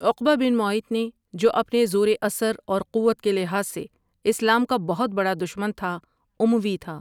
عقبہ بن معیط نے جو اپنے زور اثر اور قوت کے لحاظ سے اسلام کا بہت بڑا دشمن تھا اموی تھا۔